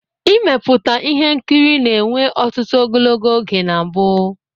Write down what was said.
Ịmeputa ihe nkiri na-enwe ọtụtụ ogologo oge na mbu.